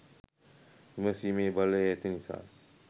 විමසීමේ බලය ඇති නිසා